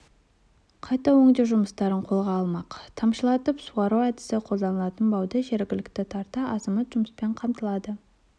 қайта өңдеу жұмыстарын қолға алмақ тамшылатып суару әдісі қолданылатын бауда жергілікті тарта азамат жұмыспен қамтылады